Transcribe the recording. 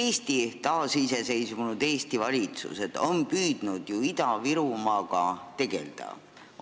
Kõik taasiseseisvunud Eesti valitsused on püüdnud ju Ida-Virumaaga tegelda.